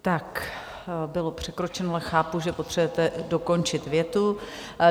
Tak bylo překročeno, ale chápu, že potřebujete dokončit větu.